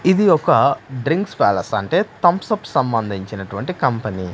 ఇది ఒక drinks palace అంటే థమ్సప్ సంబంధించినటువంటి కంపెనీ .